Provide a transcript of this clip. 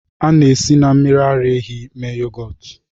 A na-esi na mmiri ara ehi mee yogọt